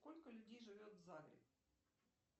сколько людей живет в зале